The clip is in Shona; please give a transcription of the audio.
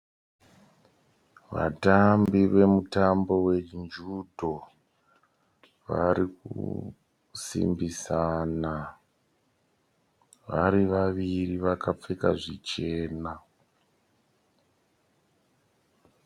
Vatambi vemutambo we judo. Vari kusimbisana vari vaviri vakapfeka zvichena.